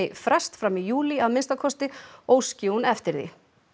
frest fram í júlí að minnsta kosti óski hún eftir því